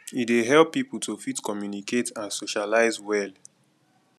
e dey help pipo to fit communicate and socialize well